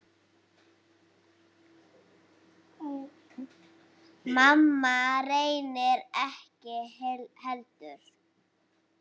Mamma reyndar ekki heldur.